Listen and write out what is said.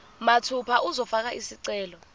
mathupha uzofaka isicelo